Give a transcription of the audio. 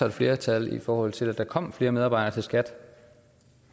et flertal i forhold til at der kom flere medarbejdere til skat